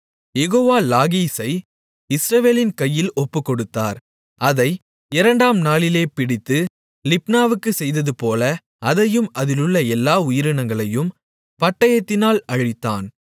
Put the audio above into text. யெகோவா லாகீசை இஸ்ரவேலின் கையில் ஒப்புக்கொடுத்தார் அதை இரண்டாம் நாளிலே பிடித்து லிப்னாவுக்குச் செய்ததுபோல அதையும் அதிலுள்ள எல்லா உயிரினங்களையும் பட்டயத்தினால் அழித்தான்